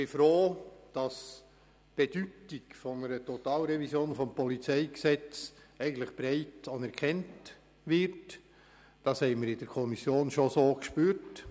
Dass die Bedeutung einer Totalrevision des PolG eigentlich breit anerkannt wird, haben wir bereits in der Kommission gespürt.